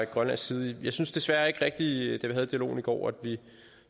grønlands side jeg synes desværre ikke rigtig at vi havde dialogen i går